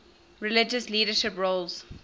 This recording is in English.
religious leadership roles